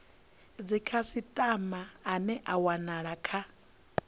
dzikhasitama ane a wanala kha